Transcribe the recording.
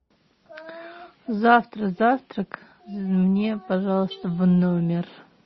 завтра завтрак мне пожалуйста в номер